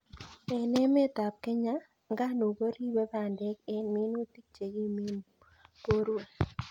En emetab Kenya, nganuk korube bandek en en minutik chekimen borwek.